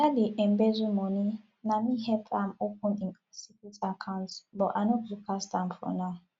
oga dey embezzle money na me help am open im secret account but i no go cast am for now